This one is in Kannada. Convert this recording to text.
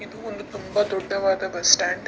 ಇದೂ ಒಂದು ತುಂಬಾ ದೊಡ್ಡವಾದ ಬಸ್ ಸ್ಟಾಂಡ್ .